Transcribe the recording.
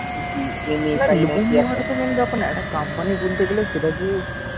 নেওয়াটা তো main ব্যাপার না একটা company খুলতে গেলে সেটা যে